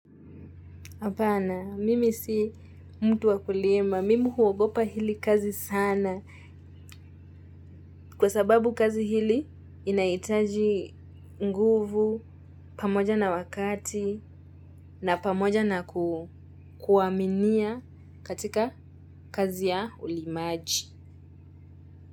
Hapana, mimi si mtu wa kulima, mimi huogopa hili kazi sana kwa sababu kazi hili inahitaji nguvu pamoja na wakati na pamoja na kuaminia katika kazi ya ulimaji.